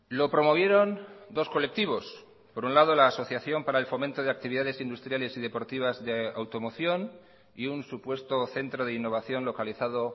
lo promovieron dos colectivos por un lado la asociación para el fomento de actividades industriales y deportivas de automoción y un supuesto centro de innovación localizado